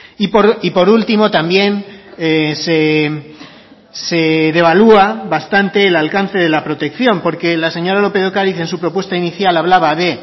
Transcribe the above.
y por último también se devalúa bastante el alcance de la protección porque la señora lópez de ocariz en su propuesta inicial hablaba de